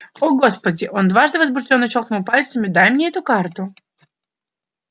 о господи он дважды возбуждённо щёлкнул пальцами дай мне эту карту